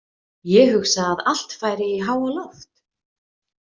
Ég hugsa að allt færi í háaloft.